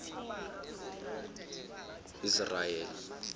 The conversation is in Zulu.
israyeli